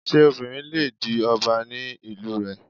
Ṣé obìnrin le di ọba ní ìlú rẹ?